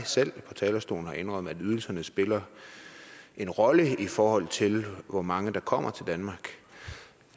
selv på talerstolen har indrømmet at ydelserne spiller en rolle i forhold til hvor mange der kommer til danmark